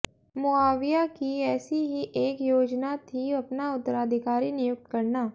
मुआविया की एसी ही एक योजना थी अपना उत्तराधिकारी नियुक्त करना